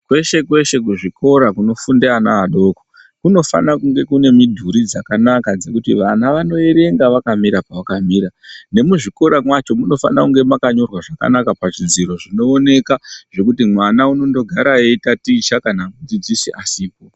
Kweshe kweshe kuzvikora kunofunda vana vadoko kunofana kunge kune midhuri dzakanaka dzekuti vana vanoerenga vakamira pavakamira nemuzvikora macho Munofana makanyorwa zvifananidzo zvinoonekwa zvekuti mwana anogara veitaticha kana mudzidzisi asipo.